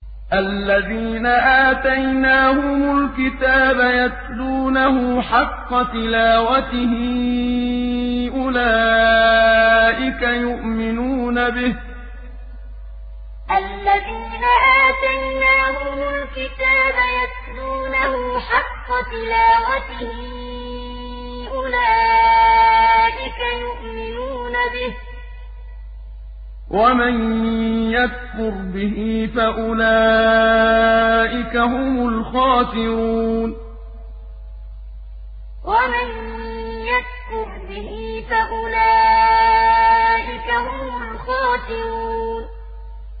الَّذِينَ آتَيْنَاهُمُ الْكِتَابَ يَتْلُونَهُ حَقَّ تِلَاوَتِهِ أُولَٰئِكَ يُؤْمِنُونَ بِهِ ۗ وَمَن يَكْفُرْ بِهِ فَأُولَٰئِكَ هُمُ الْخَاسِرُونَ الَّذِينَ آتَيْنَاهُمُ الْكِتَابَ يَتْلُونَهُ حَقَّ تِلَاوَتِهِ أُولَٰئِكَ يُؤْمِنُونَ بِهِ ۗ وَمَن يَكْفُرْ بِهِ فَأُولَٰئِكَ هُمُ الْخَاسِرُونَ